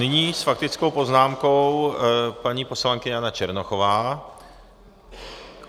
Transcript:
Nyní s faktickou poznámkou paní poslankyně Jana Černochová.